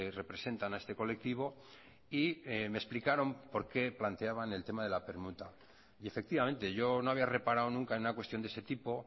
representan a este colectivo y me explicaron por qué planteaban el tema de la permuta y efectivamente yo no había reparado nunca en una cuestión de ese tipo